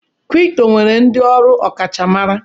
Kripto nwere ndị ọrụ ọkachamara.